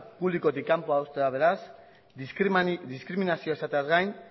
publikotik kanpo uztea beraz diskriminazioa izateaz gain